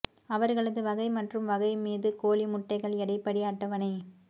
அவர்களது வகைப் மற்றும் வகை மீது கோழி முட்டைகள் எடை படி அட்டவணை